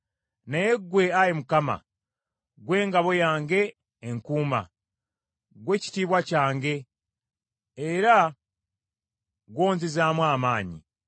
Naye ggwe, Ayi Mukama , ggwe ngabo yange enkuuma; ggwe kitiibwa kyange, era gw’onzizaamu amaanyi.